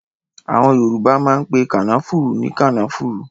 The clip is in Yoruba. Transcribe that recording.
Àwọn Yorùbá máa ń pe kànáfùrú ní kànáfùrú